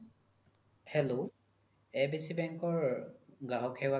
hello abc bank ৰ গ্ৰাহক সেৱা